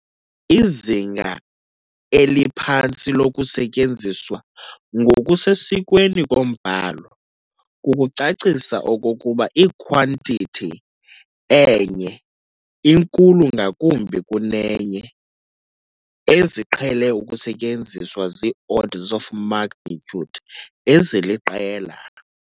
Kwinjineli yee-sciences, izinga eliphantsi lokusetyenziswa ngokusesikweni kombhalo kukucacisa okokuba i-quantity enye "inkulu ngakumbi" kunenye, eziqhele ukusetyenziswa zii-orders of magnitude eziliqela.